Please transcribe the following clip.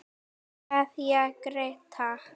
Kveðja Gréta.